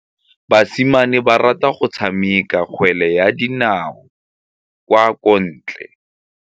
Basimane ba rata go tshameka kgwele ya dinaô kwa ntle.